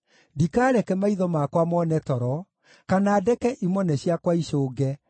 ndikaareke maitho makwa mone toro, kana ndeke imone ciakwa icũnge,